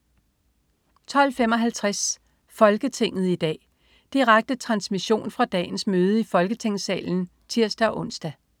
12.55 Folketinget i dag. Direkte transmission fra dagens møde i Folketingssalen (tirs-ons)